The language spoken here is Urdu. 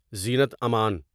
زینت امن